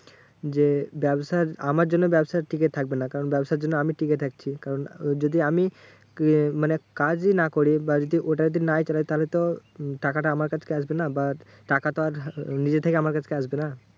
যে ব্যাবসা আমার জন্য ব্যাবসা টিকে থাকবে না কারণ ব্যবসার জন্য আমি টিকে থাকছি। কারণ যদি আমি ইয়ে মানে কাজই না করি বা যদি ওটা যদি নাই চালাই তাহলে তো টাকাটা আমার কাছকে আসবে না। টাকা তো আর নিজে থেকে আমার কাছকে আসবে না।